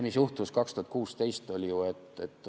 Mis juhtus 2016?